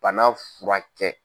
bana fura kɛ.